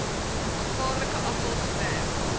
gevaarlike afval gewerk